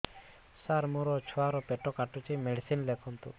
ସାର ମୋର ଛୁଆ ର ପେଟ କାଟୁଚି ମେଡିସିନ ଲେଖନ୍ତୁ